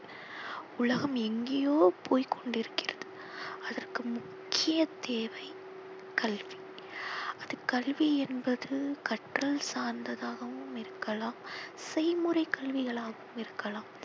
உலகம் எங்கேயோ போய் கொண்டிருக்கிறது. அதற்கு முக்கிய தேவை கல்வி. அது கல்வி என்பது கற்றல் சார்ந்ததாகவும் இருக்கலாம் செய்முறை கல்விகளாகவும் இருக்கலாம்.